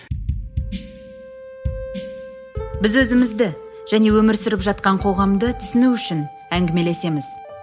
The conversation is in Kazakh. біз өзімізді және өмір сүріп жатқан қоғамды түсіну үшін әңгімелесеміз